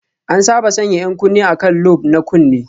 An saba sanya 'yan kunne a kan lobe na kunne